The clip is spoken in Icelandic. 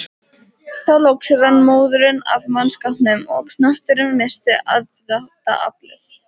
Þá loks rann móðurinn af mannskapnum og knötturinn missti aðdráttaraflið.